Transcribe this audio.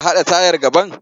A haɗa tayar gaban?